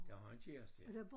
Det har kæreste ja